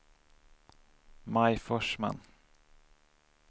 Maj Forsman